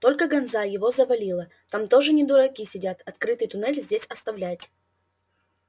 только ганза его завалила там тоже не дураки сидят открытый туннель здесь оставлять